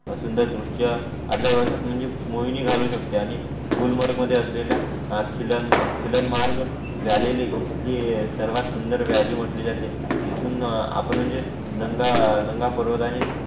सुंदर दृश्य आपल्या वसाहत म्हणजे मोहिनी घालू शकते आणि गुलमर्ग मध्ये असलेला खिलं खिलं मार्ग झालेली इथली सरवात सुंदर वेली म्हटली जाते आपण म्हणजे नंगा नंगा पर्वतांनींच